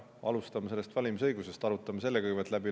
Alustame valimisõigusest, arutame selle kõigepealt läbi.